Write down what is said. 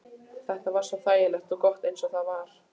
Þetta var svo þægilegt og gott eins og það var.